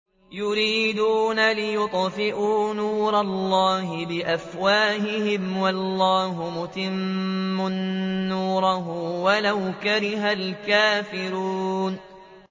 يُرِيدُونَ لِيُطْفِئُوا نُورَ اللَّهِ بِأَفْوَاهِهِمْ وَاللَّهُ مُتِمُّ نُورِهِ وَلَوْ كَرِهَ الْكَافِرُونَ